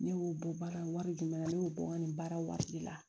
Ne y'o bɔ baara wari di ne ma ne y'o bɔ n ka nin baara waati de la